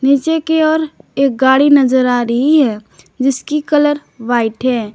नीचे की ओर एक गाड़ी नजर आ रही है जिसकी कलर व्हाइट है।